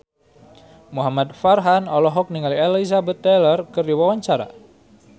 Muhamad Farhan olohok ningali Elizabeth Taylor keur diwawancara